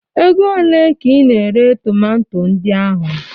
Ego olee ka ị na-ere tomanto ndị ahụ?